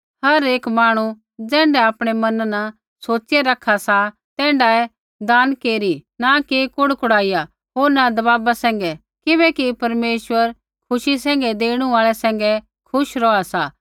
हर एक जन ज़ैण्ढा आपणै मना न सोचिया रखा सा तैण्ढाऐ दान केरी न कि कुड़ी कुड़ीया होर न दबाव सैंघै किबैकि परमेश्वर खुशी सैंघै देणु आल़ै सैंघै खुश रौहा सा